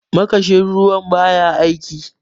makashin ruwan ba ya aiki